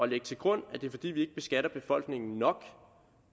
lægge til grund at det er fordi vi ikke beskatter befolkningen nok